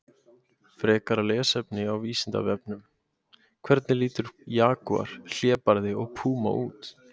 Frekara lesefni á Vísindavefnum: Hvernig líta jagúar, hlébarði og púma út?